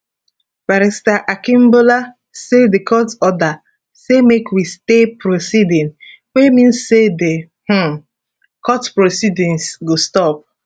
barrister akingbolu say di court order say make we stay proceeding wey mean say di um court proceedings go stop